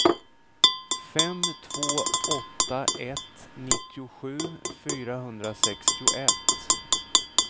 fem två åtta ett nittiosju fyrahundrasextioett